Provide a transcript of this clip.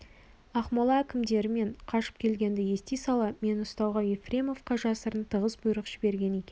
ақмола әкімдері менің қашып келгенімді ести сала мені ұстауға ефремовқа жасырын тығыз бұйрық жіберген екен